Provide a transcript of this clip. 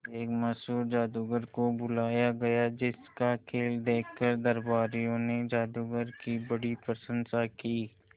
एक मशहूर जादूगर को बुलाया गया जिस का खेल देखकर दरबारियों ने जादूगर की बड़ी प्रशंसा की